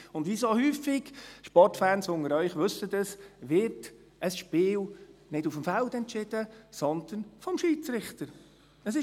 Und wie so häufig – Sportfans unter Ihnen wissen dies – wird ein Spiel nicht auf dem Feld, sondern vom Schiedsrichter entschieden.